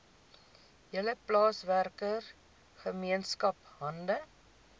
hele plaaswerkergemeenskap hande